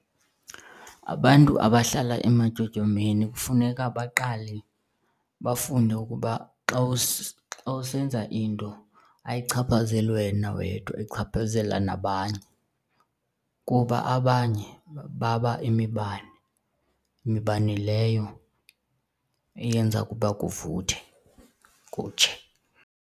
Abantu abahlala ematyotyombeni kufuneka baqale bafunde ukuba xa usenza into ayichaphazeli wena wedwa ichaphazela nabanye kuba abanye baba imibane, mibane leyo eyenza ukuba kuvuthe kutshe.